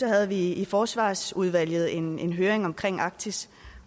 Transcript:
havde vi i forsvarsudvalget en en høring om arktis